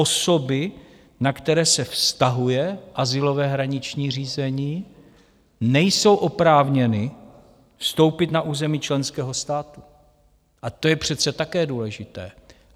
Osoby, na které se vztahuje azylové hraniční řízení, nejsou oprávněny vstoupit na území členského státu, a to je přece také důležité.